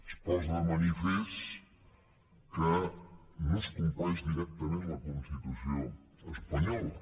es posa de manifest que no es compleix directament la constitució espanyola